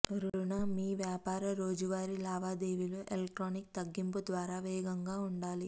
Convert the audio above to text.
రుణ మీ వ్యాపార రోజువారీ లావాదేవీలు ఎలక్ట్రానిక్ తగ్గింపు ద్వారా వేగంగా ఉండాలి